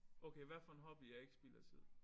Okay hvad for en hobby er ikke spild af tid